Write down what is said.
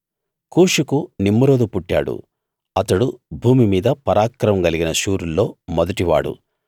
కూషుకు Nimrod పుట్టాడు అతడు భూమి మీద పరాక్రమం కలిగిన శూరుల్లో మొదటివాడు